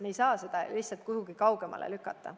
Me ei saa seda lihtsalt kuhugi kaugemale lükata.